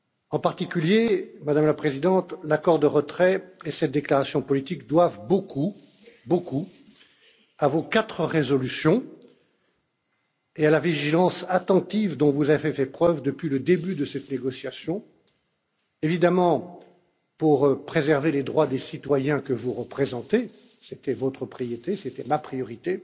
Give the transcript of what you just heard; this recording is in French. En particulier, Madame la Présidente, l'accord de retrait et cette déclaration politique doivent beaucoup à vos quatre résolutions et à la vigilance attentive dont vous avez fait preuve depuis le début de cette négociation, évidemment, pour préserver les droits des citoyens que vous représentez c'était votre priorité, c'était ma priorité